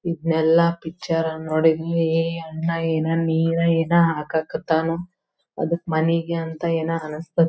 ಇದ್ನೇಲ್ಲ ಪಿಚ್ಚರಲ್ ನೋಡಿದನೀ ಅಣ್ಣ ಏನ ನೀರ ಏನ ಹಾಕಕ್ ಹತ್ತನೂ ಅದಕ್ ಮನೆಗ ಅಂತ ಏನ ಅನ್ಸತ್ತ --